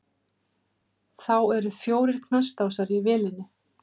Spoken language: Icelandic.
Þá eru fjórir knastásar á vélinni.